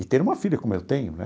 E ter uma filha como eu tenho, né?